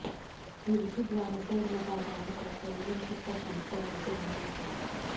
युवती द्वारा शोर मचाए जाने पर परिजन छत पर पहुंचे और उसे बाहर निकाला